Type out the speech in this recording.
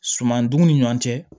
Sumanduguw ni ɲɔn cɛ